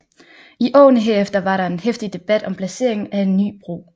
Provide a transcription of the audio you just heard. I årene herefter var der en heftig debat om placeringen af en ny bro